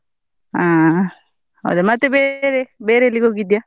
ಹಾ ಹೌದಾ ಮತ್ತೆ ಬೇರೆ, ಬೇರೆ ಎಲ್ಲಿಗೆ ಹೋಗಿದ್ಯಾ?